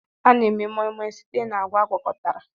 A na-eme Moi moi site na agwa agwakọtara